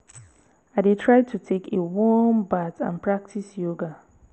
i dey try to take a warm bath and practice yoga.